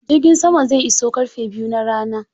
Jirgin sama zai iso ƙarfe biyu na rana.